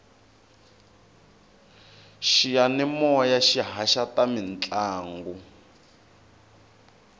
xiyamimoya xi haxa ta mintlangu